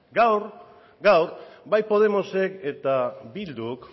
gaur bai podemosek eta bilduk